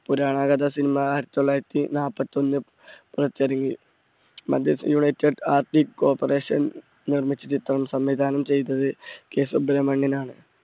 പുരാണ കഥ cinema ആയിരത്തി തൊള്ളായിരത്തി നാല്പത്തൊന്ന് പുറത്തിറങ്ങി. united corporation നിർമ്മിച്ച ചിത്രം സംവിധാനം ചെയ്തത് K സുബ്രമണ്യനാണ്.